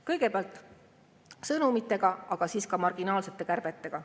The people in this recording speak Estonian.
Kõigepealt sõnumitega, aga siis ka marginaalsete kärbetega.